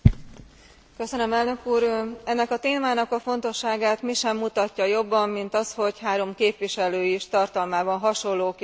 Ennek a témának a fontosságát mi sem mutatja jobban, mint az, hogy három képviselő is tartalmában hasonló kérdéssel fordult a Bizottsághoz.